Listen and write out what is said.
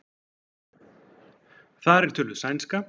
Þar er töluð sænska.